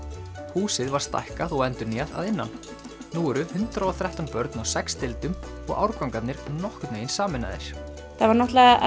húsið var stækkað og endurnýjað að innan nú eru hundrað og þrettán börn á sex deildum og árgangarnir nokkurn veginn sameinaðir það var